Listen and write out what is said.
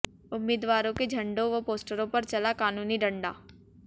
उम्मीदवारों के झंडों व पोस्टरों पर चला कानूनी डंडा